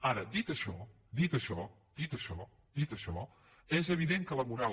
ara dit això dit això dit això és evident que la moral